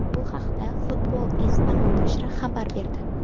Bu haqda Football Espana nashri xabar berdi.